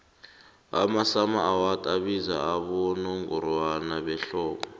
amasummer awards abizwa abowongorwana behlobo